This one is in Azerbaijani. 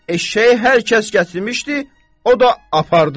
Eşşəyi hər kəs gətirmişdi, o da apardı.